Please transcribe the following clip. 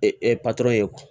patɔrɔn ye